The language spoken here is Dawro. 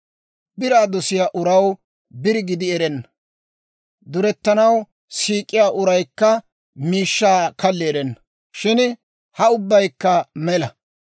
Biraa dosiyaa uraw biri gidi erenna; durettanaw siik'iyaa uraykka miishshaa kalli erenna. Shin ha ubbaykka mela.